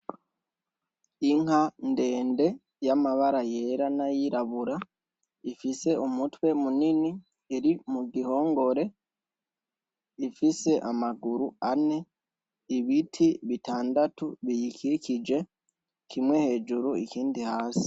Inka ndende y‘ amabara yera n‘ ayirabura, ifise umitwe munini iri mu gihongore, ifise amaguru ane, ibiti bitandatu biyikikije, kimwe hejuru ikindi hasi .